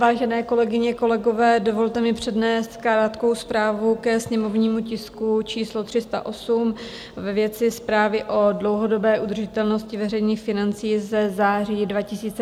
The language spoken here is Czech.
Vážené kolegyně, kolegové, dovolte mi přednést krátkou zprávu ke sněmovnímu tisku číslo 308 ve věci zprávy o dlouhodobé udržitelnosti veřejných financí ze září 2022 za klub ANO.